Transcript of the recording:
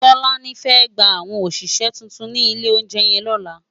Tolani fè gbá áwòn óṣiṣè tútún si ilé óunjè yèn lòlá